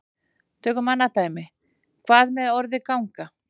Tökum annað dæmi: Hvað með orðið ganga?